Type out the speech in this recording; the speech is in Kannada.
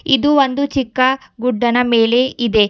ಇದು ಒಂದು ಚಿಕ್ಕ ಗುಡ್ಡನ ಮೇಲೆ ಇದೆ.